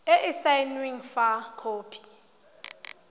e e saenweng fa khopi